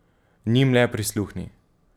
Njim le prisluhni.